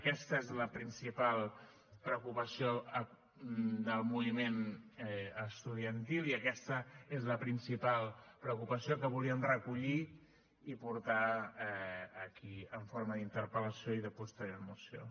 aquesta és la principal preocupació del moviment estudiantil i aquesta és la principal preocupació que volíem recollir i portar aquí en forma d’interpel·lació i de posterior moció